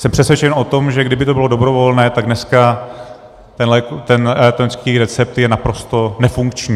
Jsem přesvědčen o tom, že kdyby to bylo dobrovolné, tak dneska ten elektronický recept je naprosto nefunkční.